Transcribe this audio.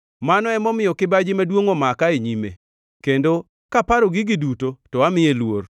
Mano emomiyo kibaji maduongʼ omaka e nyime, kendo kaparo gigi duto to amiye luor.